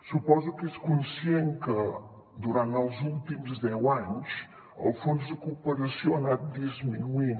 suposo que és conscient que durant els últims deu anys el fons de cooperació ha anat disminuint